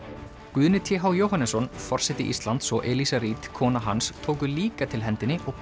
Guðni t h Jóhannesson forseti Íslands og Eliza Reid kona hans tóku líka til hendinni og